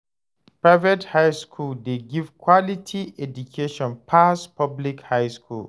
Private high school de give quality education pass public high school